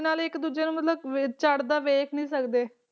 ਨਾਲੇ ਇੱਕ ਦੂਜੇ ਨੂੰ ਮਤਲਬ ਵੀ ਚੜ੍ਹਦਾ ਵੇਖ ਨੀ ਸਕਦੇ